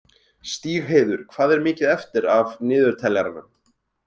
Stígheiður, hvað er mikið eftir af niðurteljaranum?